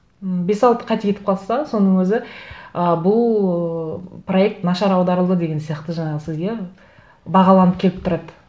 м бес алты қате кетіп қалса соның өзі ы бұл ыыы проект нашар аударылды деген сияқты жаңағы сізге бағаланып келіп тұрады